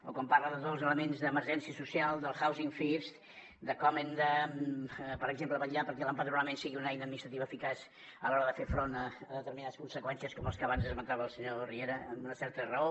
o quan parla de tots els elements d’emergència social del housing first de com hem de per exemple vetllar perquè l’empadronament sigui una eina administrativa eficaç a l’hora de fer front a determinades conseqüències com les que abans esmentava el senyor riera amb una certa raó